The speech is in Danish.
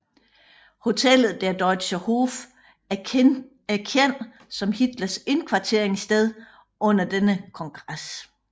Hotellet Der Deutscher Hof er kendt som Hitlers indkvarteringssted under denne kongres